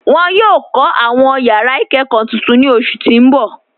Wọn yọ kọ awọn yara ikẹkọ tuntun ni oṣu ti n bọ.